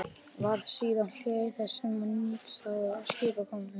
Varð síðan hlé á þessum nýstárlegu skipakomum.